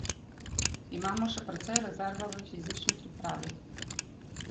Imamo še precej rezerve v fizični pripravi.